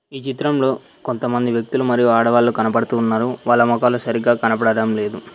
ఈ చిత్రంలో కొంతమంది వ్యక్తులు మరియు ఆడవాళ్లు కనపడుతూ ఉన్నారు వాళ్ళ మోకాలు సరిగ్గా కనపదటం లేదు.